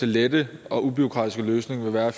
lette og ubureaukratiske løsning vil være